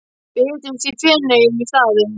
Við hittumst í Feneyjum í staðinn.